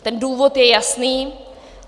Ten důvod je jasný.